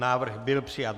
Návrh byl přijat.